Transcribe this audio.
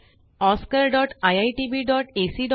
spoken tutorialorgnmeict intro